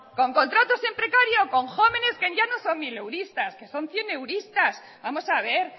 con contratos en precario con jóvenes que ya no son mileuristas que son cieneuristas vamos a ver